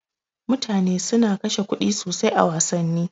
Mutane suna kashe kuɗi sosai a wassani.